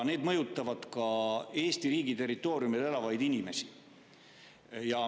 Need mõjutavad ka Eesti riigi territooriumil elavaid inimesi.